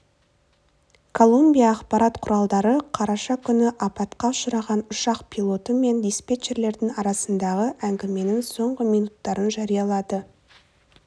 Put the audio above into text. колумбия ақпарат құралдары қараша күні апатқа ұшыраған ұшақ пилоты мен диспетчерлердің арасындағы әңгіменің соңғы минуттарын жариялады